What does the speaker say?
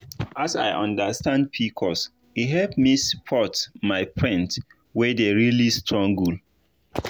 as i understand pcos e help me support my friend wey dey really struggle.